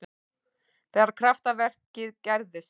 Þegar kraftaverkið gerðist.